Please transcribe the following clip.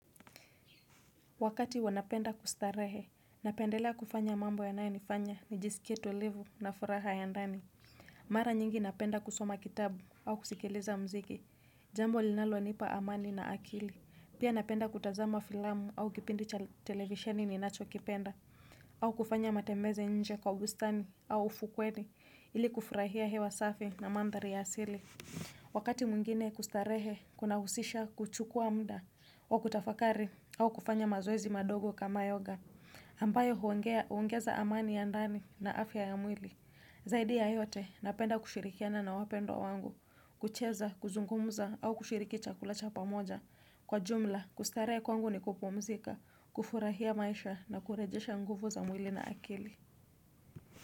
Wakati wanapenda kustarehe, napendelea kufanya mambo ya nayo nifanya ni jisikie tulivu na furaha ya ndani. Mara nyingi napenda kusoma kitabu au kusikiliza mziki. Jambo linalo nipa amani na akili. Pia napenda kutazama filamu au kipindi cha televisheni ni nacho kipenda. Au kufanya matembezi nje kwa ubustani au ufukweni ili kufurahia hewa safi na mandhari ya asili. Wakati mwingine kustarehe kuna usisha kuchukua mda wa kutafakari au kufanya mazoezi madogo kama yoga ambayo huongeza amani ya ndani na afya ya mwili zaidi ya yote napenda kushirikiana na wapendwa wangu kucheza, kuzungumza au kushirikicha kulacha pamoja kwa jumla kustarehe kwangu ni kupumzika kufurahia maisha na kurejesha nguvu za mwili na akili.